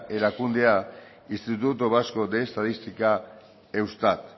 erakundea instituto vasco de estadística eustat